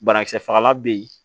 Banakisɛ fagalan bɛ yen